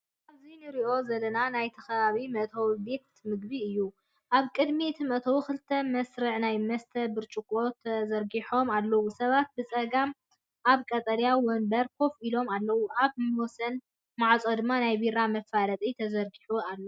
ኣብዚ ንርእዮ ዘለና ናይቲ ከባቢ መእተዊ ቤት ምግቢ እዩ። ኣብ ቅድሚ እቲ መእተዊ ክልተ መስርዕ ናይ መስተ ብርጭቆታት ተዘርጊሖም ኣለዉ፡ሰባት ብጸጋም ኣብ ቀጠልያ መንበር ኮፍ ኢሎም ኣለዉ። ኣብ ወሰን ማዕጾ ድማ ናይ ቢራ መፋለጢ ተዘርጊሑ ኣሎ።